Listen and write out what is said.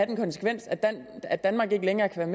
den konsekvens at danmark ikke længere kan